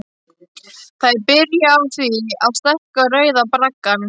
Það er byrjað á því að stækka Rauða braggann.